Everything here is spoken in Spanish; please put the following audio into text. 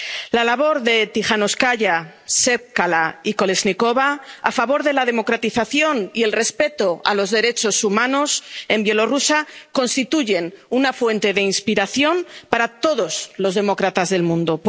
La labor de Tijanóvskaya, Tsepkalo y Kolésnikova a favor de la democratización y el respeto a los derechos humanos en Bielorrusia constituyen una fuente de inspiración para todos los demócratas del mundo.